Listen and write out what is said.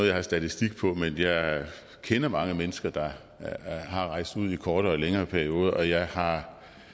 jeg har statistik på men jeg kender mange mennesker der har rejst ud i kortere og længere perioder og jeg har